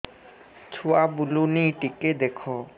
ଛୁଆ ବୁଲୁନି ଟିକେ ଦେଖ